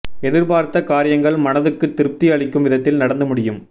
எதிர்பார்த்த காரியங்கள் மனதுக்கு திருப்தி அளிக்கும் விதத்தில் நடந்து முடியும்